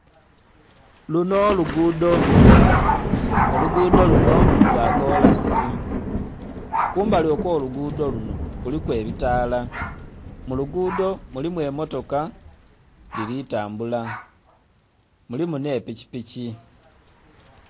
Lunho lugudho olugudho lunho lwa kolansi, kumbali okwo lugudho lunho kuliku ebitaala, mu lugudho mulimu emotoka dhili tambula mulimu nhe pikipiki.